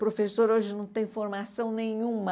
Professor hoje não tem formação nenhuma.